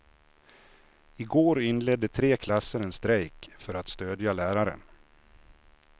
I går inledde tre klasser en strejk för att stödja läraren.